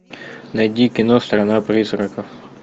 найди кино страна призраков